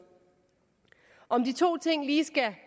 om de to ting lige skal